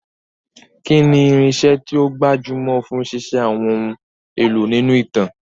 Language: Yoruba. Kí ni irinṣẹ́ tí ó gbajúmọ̀ fún ṣíṣe àwọn ohun èlò nínú ìtàn?